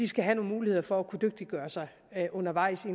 skal have nogle muligheder for at kunne dygtiggøre sig undervejs i